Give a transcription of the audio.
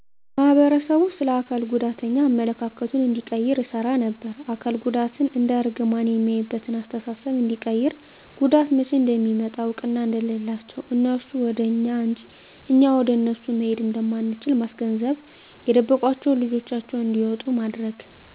ማህበረሰቡ ስለ አካል ጉዳተኛ አመለካከቱን እንዲቀይር እሰራ ነበር። አካል ጉዳትን እንደ እርግማን ሚያይበትን አስተሳሰብ እንዲቀይር ጉዳት መቸ እንዴት እንደሚመጣ እውቅና እንደሌላቸው እነሱ ወደ እኛ እንጅ እኛ ወደ እነሱ መሄድ እንደማንችል ማስገንዘብ የደበቋቸውን ልጆቻቸውን እንዲያወጡ ማድረግ።